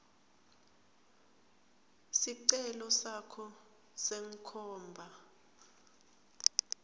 sicelo sakho senkhomba